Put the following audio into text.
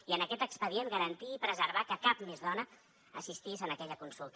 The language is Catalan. i en aquest expedient garantir i preservar que cap més dona assistís a aquella consulta